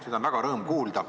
Seda on väga rõõmustav kuulda.